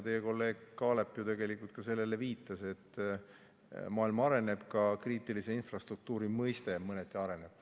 Teie kolleeg Kaalep ju ka tegelikult viitas sellele, et maailm areneb ja ka kriitilise infrastruktuuri mõiste mõneti areneb.